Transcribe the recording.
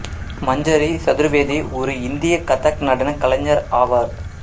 மஞ்சரி சதுர்வேதி ஒரு இந்திய கதக் நடனக் கலைஞர் ஆவார்